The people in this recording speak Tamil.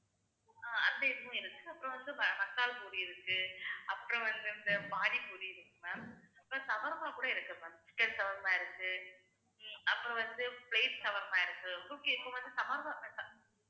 ஹம் அசைவமும் இருக்கு அப்புறம் வந்து மசால்பூரி இருக்கு, அப்புறம் வந்துட்டு பானிபூரி இருக்கு ma'am அப்புறம் shawarma கூட இருக்கு ma'am chicken shawarma இருக்கு அப்புறம் வந்து plate shawarma இருக்கு